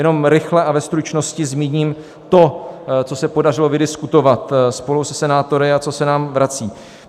Jenom rychle a ve stručnosti zmíním to, co se podařilo vydiskutovat spolu se senátory a co se nám vrací.